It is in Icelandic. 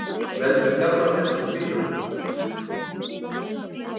Veldur gallað bensín bilunum